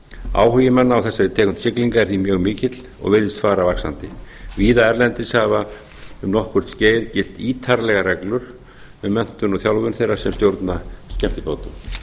áhugi manna á þessari tegund siglinga er því mjög mikill og mun fara vaxandi víða erlendis hafa um nokkurt skeið gilt ítarlegar reglur um menntun og þjálfun þeirra sem stjórna skemmtibátum